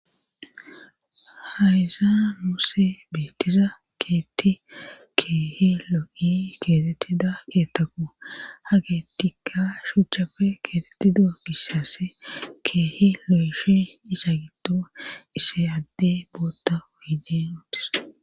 Hayza muusse beettiza keetti keehi loqi keetettida keettaku ha keettikka shuchchapfe keetetida gissaass keehi lo7eshi isa giddoa isse adde bootta wuyidin ootis.